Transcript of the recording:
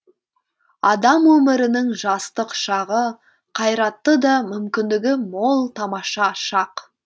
адам өмірінің жастық шағы қайратты да мүмкіндігі мол тамаша шақ